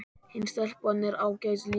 Hin stelpan er ágæt líka